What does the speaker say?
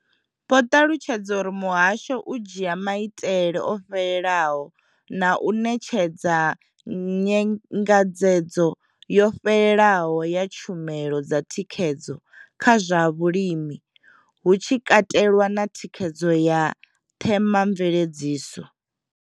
Vho ṱalutshedza uri muhasho u dzhia maitele o fhelelaho na u ṋetshedza nyengedzedzo yo fhelelaho ya tshumelo dza thikhedzo kha zwa vhulimi, hu tshi katelwa na thikhedzo ya themamveledziso.